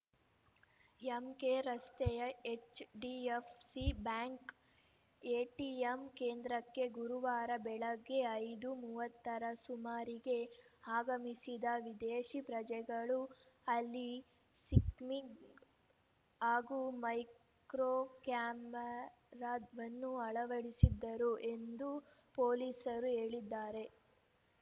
ಎಂಕೆರಸ್ತೆಯ HDFC bank ATM ಕೇಂದ್ರಕ್ಕೆ ಗುರುವಾರ ಬೆಳಗ್ಗೆ ಐದು ಮೂವತ್ತರ ಸುಮಾರಿಗೆ ಆಗಮಿಸಿದ ವಿದೇಶಿ ಪ್ರಜೆಗಳು ಅಲ್ಲಿ ಸ್ಕಿಮ್ಮಿಂಗ್‌ ಹಾಗೂ ಮೈಕ್ರೋ ಕ್ಯಾಮೆರಾವನ್ನು ಅಳವಡಿಸಿದ್ದರು ಎಂದು ಪೊಲೀಸರು ಹೇಳಿದ್ದಾರೆ